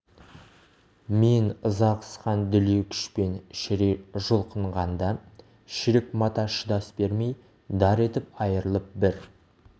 мен ыза қысқан дүлей күшпен шірей жұлқынғанда шірік мата шыдас бермей дар етіп айырылып бір